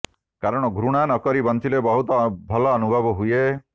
କାରଣ ଘୃଣା ନ କରି ବଞ୍ଚିଲେ ବହୁତ ଭଲ ଅନୁଭବ ହୁଏ